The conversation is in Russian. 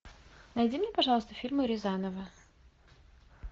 найди мне пожалуйста фильмы рязанова